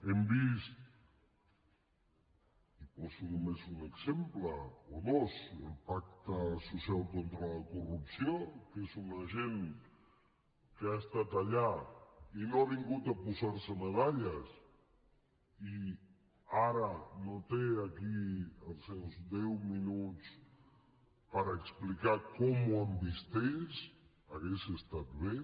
hem vist i en poso només un exemple o dos el pacte social contra la corrupció que és una gent que ha estat allà i no ha vingut a posar se medalles i ara no té aquí els seus deu minuts per explicar com ho han vist ells hauria estat bé